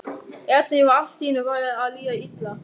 Erni var allt í einu farið að líða illa.